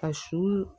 Ka su